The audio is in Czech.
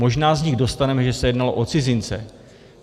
Možná z nich dostaneme, že se jednalo o cizince.